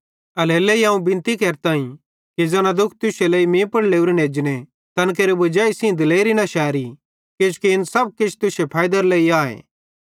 एल्हेरेलेइ अवं बिनती केरताईं कि ज़ैना दुःख तुश्शे लेइ मीं पुड़ लोरेन एजने तैन केरे वजाई सेइं दिलेरी न शैरी किजोकि इन सब तुश्शे फैइदेरे लेइ आए